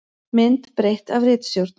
Mynd breytt af ritstjórn.